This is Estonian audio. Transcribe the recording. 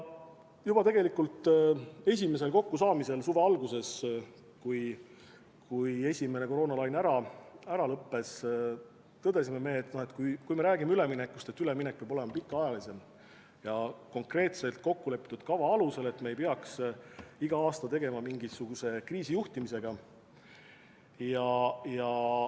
Juba tegelikult esimesel kokkusaamisel suve alguses, kui esimene koroonalaine oli ära lõppenud, tõdesime me, et kui me räägime üleminekust, siis üleminek peab olema pikaajalisem ja konkreetselt kokkulepitud kava alusel, et me ei peaks iga aasta tegelema mingisuguse kriisijuhtimisega.